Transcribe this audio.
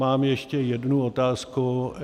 Mám ještě jednu otázku.